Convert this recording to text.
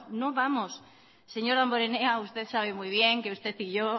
no vamos señor damborenea usted sabe muy bien que usted y yo